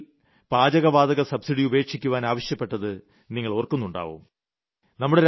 ഞാൻ ഒരിക്കൽ പാചകവാതക സബ്സിഡി ഉപേക്ഷിക്കുവാൻ ആവശ്യപ്പെട്ടത് നിങ്ങൾ ഓർക്കുന്നുണ്ടാവും